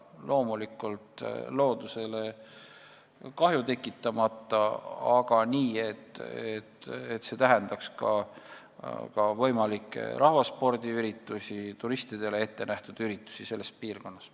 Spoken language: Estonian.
Loomulikult ei tohi loodusele kahju tekitada, aga võiks siiski võimaldada ka rahvaspordiüritusi ja turistidele ettenähtud üritusi selles piirkonnas.